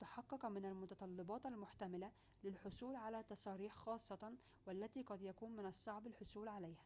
تحقق من المتطلباتِ المحتملةٍ للحصول على تصاريح خاصةٍ والتي قد يكون من الصعب الحصول عليها